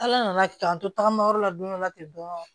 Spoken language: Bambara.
Ala nana k'an to tagama yɔrɔ la don dɔ la ten dɔn